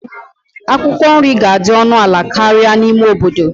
Akwụkwọ nri ga-adị ọnụ ala karịa n'ime obodo.